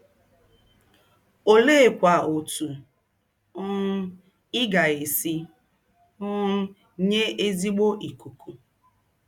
Oleekwa otú um ị ga-esi um nye ezigbo ikuku?